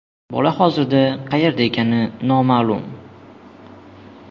Bola hozir qayerda ekani noma’lum.